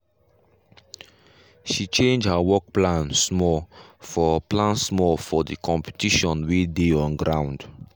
she change her work plan small for plan small for the competition wey dey on ground.